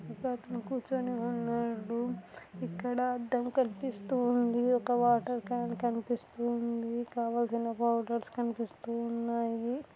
ఒక అతను కుర్చోని ఉన్నాడు ఇక్కడ అద్దం కనిపిస్తూ ఉంది ఒక వాటర్ క్యాన్ కనిపిస్తూ ఉంది కావాల్సిన పౌడర్స్ కనిపిస్తూ ఉన్నాయి.